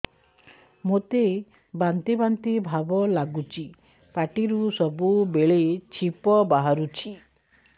ମୋତେ ବାନ୍ତି ବାନ୍ତି ଭାବ ଲାଗୁଚି ପାଟିରୁ ସବୁ ବେଳେ ଛିପ ବାହାରୁଛି